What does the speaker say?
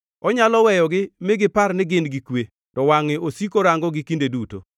Onyalo weyogi mi gipar ni gin gi kwe, to wangʼe osiko rangogi kinde duto.